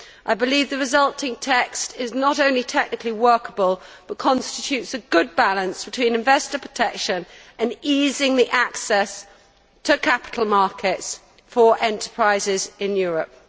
I believe the resulting text is not only technically workable, but is a good balance between investor protection and easing the access to capital markets for enterprises in Europe.